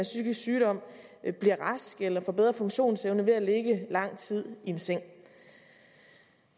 psykisk sygdom bliver raske eller får bedre funktionsevne ved at ligge lang tid i en seng